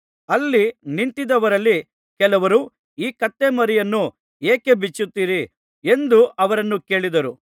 ಅಲ್ಲಿ ನಿಂತಿದ್ದವರಲ್ಲಿ ಕೆಲವರು ಈ ಕತ್ತೆಮರಿಯನ್ನು ಏಕೆ ಬಿಚ್ಚುತ್ತೀರಿ ಎಂದು ಅವರನ್ನು ಕೇಳಿದರು